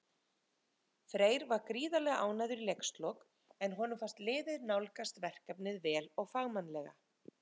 Freyr var gríðarlega ánægður í leikslok, en honum fannst liðið nálgast verkefnið vel og fagmannlega.